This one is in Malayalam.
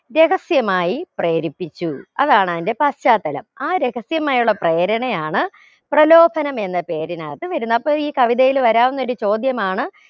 രഹസ്യമായി പ്രേരിപ്പിച്ചു അതാണ് അതിന്റെ പാശ്ചാത്തലം ആ രഹസ്യമായുള്ള പ്രേരണയാണ് പ്രലോഭനം എന്ന പേരിനകത്ത് വരുന്നെ അപ്പൊ ഈ കവിതയിൽ വരാവുന്നൊരു ചോദ്യമാണ്